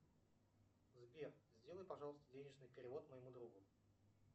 сбер сделай пожалуйста денежный перевод моему другу